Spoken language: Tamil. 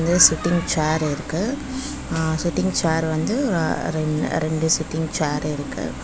இந்த சிட்டிங் சேர் இருக்கு அ சிட்டிங் சேர் வந்து ரெண்டு சிட்டிங் சேர் இருக்கு.